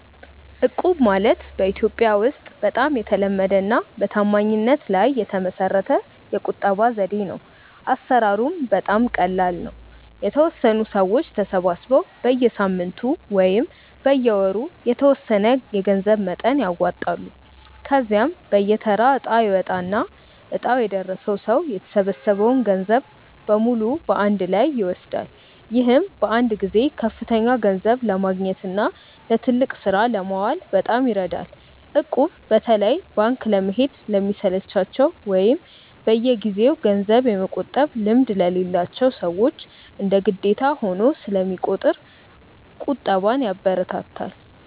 እቁብ ማለት በኢትዮጵያ ውስጥ በጣም የተለመደና በታማኝነት ላይ የተመሰረተ የቁጠባ ዘዴ ነው። አሰራሩም በጣም ቀላል ነው፤ የተወሰኑ ሰዎች ተሰባስበው በየሳምንቱ ወይም በየወሩ የተወሰነ የገንዘብ መጠን ያዋጣሉ። ከዚያም በየተራ እጣ ይወጣና እጣው የደረሰው ሰው የተሰበሰበውን ገንዘብ በሙሉ በአንድ ላይ ይወስዳል። ይህም በአንድ ጊዜ ከፍተኛ ገንዘብ ለማግኘትና ለትልቅ ስራ ለማዋል በጣም ይረዳል። እቁብ በተለይ ባንክ ለመሄድ ለሚሰለቻቸው ወይም በየጊዜው ገንዘብ የመቆጠብ ልምድ ለሌላቸው ሰዎች እንደ ግዴታ ሆኖ ስለሚቆጥር ቁጠባን ያበረታታል።